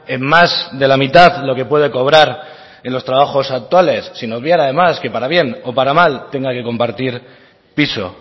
en más de la mitad lo que puede cobrar en los trabajos actuales sin obviar además que para bien o para mal tenga que compartir piso